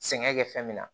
Sɛŋɛ kɛ fɛn min na